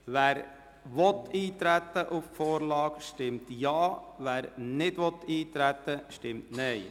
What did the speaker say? Wer auf die Vorlage eintreten will, stimmt Ja, wer dies ablehnt, stimmt Nein.